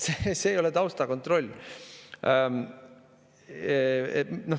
See ei ole taustakontroll.